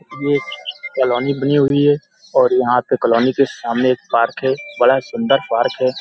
ये कॉलोनी बनी हुई है। और यहाँ पे कॉलोनी के सामने एक पार्क है। बड़ा सुन्दर पार्क है।